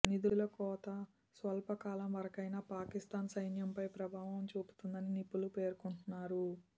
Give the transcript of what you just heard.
నిధుల కోత స్వల్ప కాలం వరకైనా పాకిస్తాన్ సైన్యంపై ప్రభావం చూపుతుందని నిపుణులు పేర్కొంటున్నారు